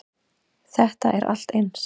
Þetta er allt eins.